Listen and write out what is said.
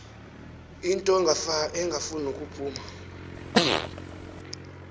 into engasafuni nokuphuma